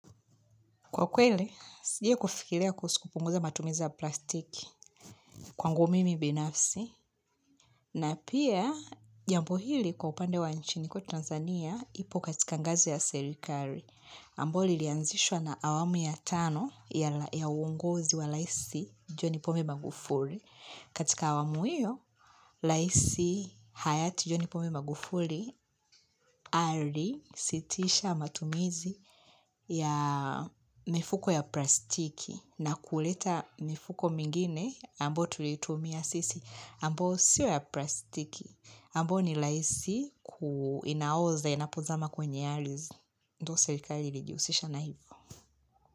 Kwa kweli, sijai kufikiria kuhusu kupunguza matumizi plastiki kwangu mimi binafsi na pia jambo hili kwa upande wa nchini kwetu Tanzania ipo katika ngazi ya serikari. Ambao lilianzishwa na awamu ya tano ya uonguzi wa raisi John pombe Magufuli. Katika awamu hiyo, raisi Hayati John pombe Magufuli ali sitisha matumizi ya mifuko ya plastiki na kuleta mifuko mingine ambao tuliitumia sisi. Ambao sioya plastiki. Ambao nilaisi kuinaoza inapozama kwenye arizi. Ndo serikali ilijihusisha na hivo.